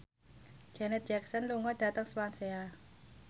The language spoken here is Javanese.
Janet Jackson lunga dhateng Swansea